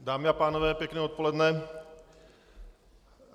Dámy a pánové, pěkné odpoledne.